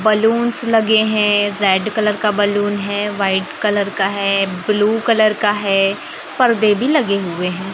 Balloons लगे हैं red colour का बलून है वाइट कलर का है ब्लू कलर का है पर्दे भी लगे हुए हैं।